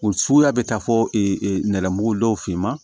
O suguya bɛ taa fɔ nɛgɛmugu dɔw finma